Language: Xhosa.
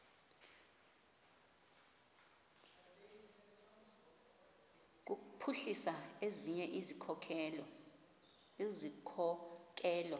kuphuhlisa ezinye izikhokelo